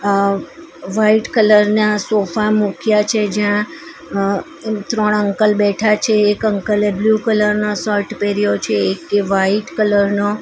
અહ white colour ના sofa મૂક્યા છે જ્યાં અ ત્રણ અંકલ બેઠા છે એક અંકલ એ બ્લુ કલર નો શર્ટ પહેર્યો છે એક એ વાઈટ કલર નો.